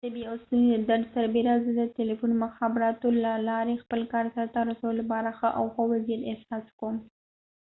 د تبې او ستوني درد سربیره زه د تلیفون مخابراتو له لارې خپل کار سرته رسولو لپاره ښه او ښه وضعیت احساس کوم